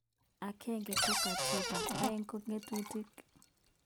Agenge ko katiba, aeg ko ngatutik